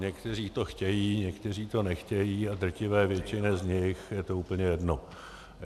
Někteří to chtějí, někteří to nechtějí a drtivé většině z nich je to úplně jedno.